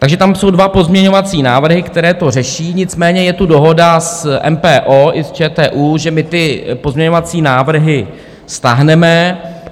Takže tam jsou dva pozměňovací návrhy, které to řeší, nicméně je tu dohoda s MPO i s ČTÚ, že my ty pozměňovací návrhy stáhneme.